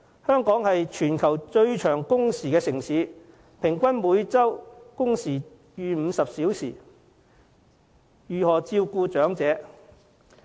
香港是全球最長工時的城市，平均每周工時超過50小時，如何照顧長者？